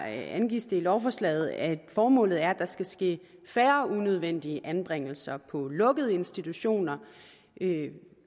angives det i lovforslaget at formålet er at der skal ske færre unødvendige anbringelser på lukkede institutioner